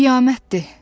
Qiyamətdir.